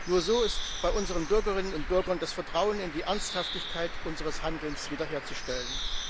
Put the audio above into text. Nur so ist bei unseren Bürgerinnen und Bürgern das Vertrauen in die Ernsthaftigkeit unseres Handelns wiederherzustellen.